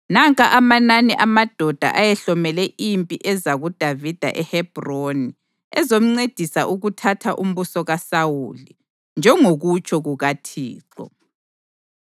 Nanka amanani amadoda ayehlomele impi eza kuDavida eHebhroni ezomncedisa ukuthatha umbuso kaSawuli, njengokutsho kukaThixo: